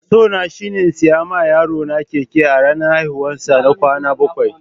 So na shine in sayi ma yaro na keke a ranan haihuwan sa na bakwai.